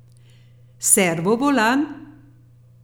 Servo volan?